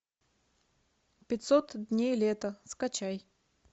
пятьсот дней лета скачай